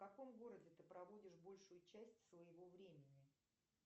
в каком городе ты проводишь большую часть своего времени